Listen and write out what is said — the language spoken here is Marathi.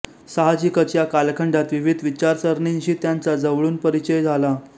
साहजिकच या कालखंडात विविध विचारसरणींशी त्यांचा जवळून परिचय झाला